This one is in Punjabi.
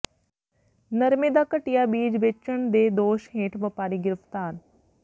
ਨਰਮੇ ਦਾ ਘਟੀਆ ਬੀਜ ਵੇਚਣ ਦੇ ਦੋਸ਼ ਹੇਠ ਵਪਾਰੀ ਗ੍ਰਿਫਤਾਰ